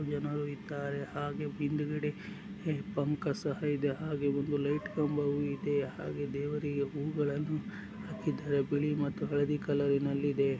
ಜನರು ಇದ್ದಾರೆ ಹಾಗೆ ಹಿಂದಗಡೆ ಬಂಕ್ ಸಹ ಇದೆ. ಹಾಗೆ ಒಂದು ಲೈಟ್ ಕಂಬವು ಇದೆ. ಹಾಗೆ ದೇವರಿಗೆ ಹೂಗಳ್ಳನ್ನು ಹಾಕ್ಕಿದ್ದಾರೆ ಬಿಳಿ ಮತ್ತೆ ಹಳದಿ ಕಲರ್ನಲ್ಲಿ ಇದೆ.